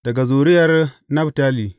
Daga zuriyar Naftali.